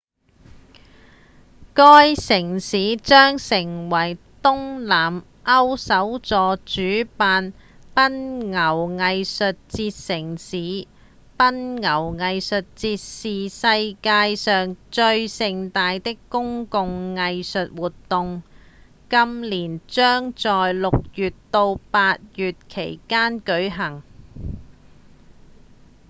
該城市將成為東南歐首座主辦奔牛藝術節城市奔牛藝術節是世界上最盛大的公共藝術活動今年將在六月到八月間舉辦